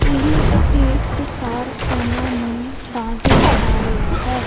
ਇਹ ਇੱਕ ਸਰ ਓਹਨਾਂ ਨੂੰ ਡਾਂਸ ਸਿਖਾ ਰਿਹਾ ਹੈ।